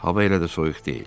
Hava elə də soyuq deyil.